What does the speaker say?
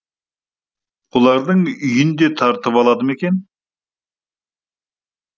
олардың үйін де тартып алды ма екен